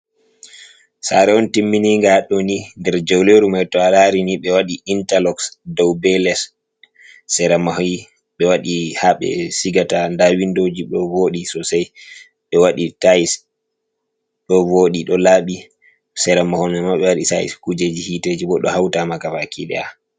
Sare on timmininga hadɗo, ni nder jauleru mai to alaari ni ɓe waɗi intaloks dou be less, sera maahi ɓe waɗi ha ɓe siigata nda windoji ɗo vooɗi sosai, ɓe waɗi tayis ɗo vooɗi ɗo laaɓi, seera mahol maima ɓe waɗi sayis, kuujeji hiteji bo ɗo hautama ga baki ɗaya.